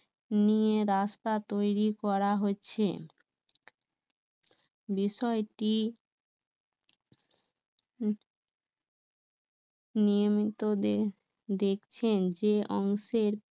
নিয়ে রাস্তা তৈরী করা হচ্ছে বিষয়টি নিয়মিত দেখছেন